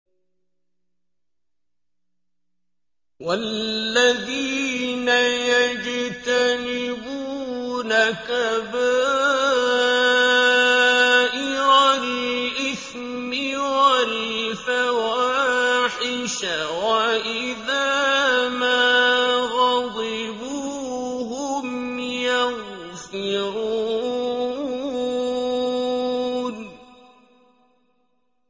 وَالَّذِينَ يَجْتَنِبُونَ كَبَائِرَ الْإِثْمِ وَالْفَوَاحِشَ وَإِذَا مَا غَضِبُوا هُمْ يَغْفِرُونَ